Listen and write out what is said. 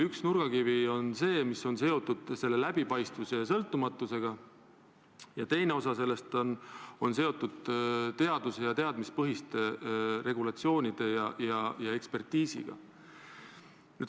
Üks nurgakivi on see, mis on seotud selle läbipaistvuse ja sõltumatusega, ning teine nurgakivi on seotud teaduse ja teadmistepõhiste regulatsioonide ja ekspertiisiga.